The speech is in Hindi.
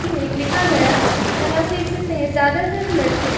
इसी में लिखा गया है और हम देख सकते है ज्यादातर लड़के --